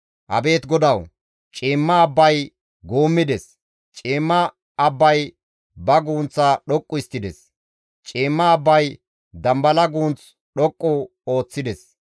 Abeet GODAWU! Ciimma abbay guummides; ciimma abbay ba gunththa dhoqqu histtides; ciimma abbay dambala guunth dhoqqu ooththides.